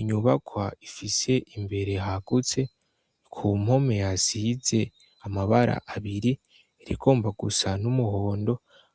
Inyubakwa ifise imbere hagutse kumpome hasize amabara abiri rigomba gusa n'umuhondo